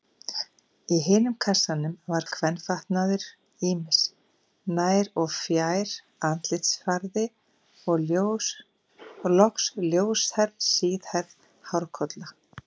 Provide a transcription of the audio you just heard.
Í hinum kassanum var kvenfatnaður ýmis, nær- og fjær-, andlitsfarði og loks ljóshærð, síðhærð hárkolla.